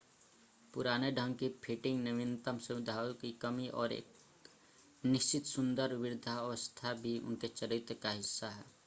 पुराने ढंग की फिटिंग नवीनतम सुविधाओं की कमी और एक निश्चित सुंदर वृद्धावस्था भी उनके चरित्र का हिस्सा है